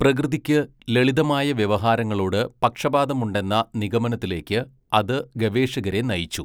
പ്രകൃതിക്ക് ലളിതമായ വ്യവഹാരങ്ങളോട് പക്ഷപാതമുണ്ടെന്ന നിഗമനത്തിലേക്ക് അത് ഗവേഷകരെ നയിച്ചു .